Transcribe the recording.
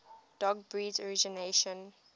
dog breeds originating